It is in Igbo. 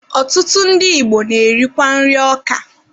Ọtụtụ ndị Igbo na-erikwa nri ọka.